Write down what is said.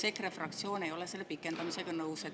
EKRE fraktsioon ei ole selle pikendamisega nõus.